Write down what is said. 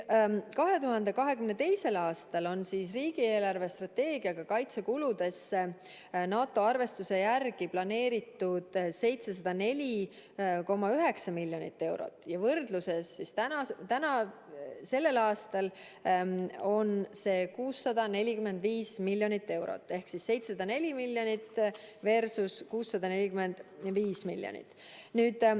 2022. aastal on riigi eelarvestrateegiaga kaitsekuludesse NATO arvestuse järgi planeeritud 704,9 miljonit eurot ja sellel aastal on see 645 miljonit eurot ehk 704 miljonit versus 645 miljonit.